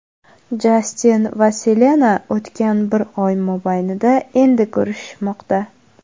Jastin va Selena o‘tgan bir oy mobaynida endi ko‘rishishmoqda.